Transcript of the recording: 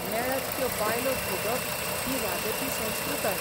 मेळत त्यो बायलो भोगप ही राजकी संस्कृताय.